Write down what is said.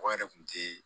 Mɔgɔ yɛrɛ kun te